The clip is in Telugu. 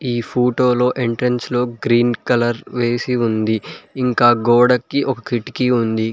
ఈ ఫోటోలో ఎంట్రన్స్ లో గ్రీన్ కలర్ వేసి ఉంది ఇంకా గోడకి ఒక కిటికీ ఉంది.